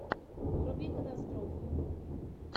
вруби катастрофу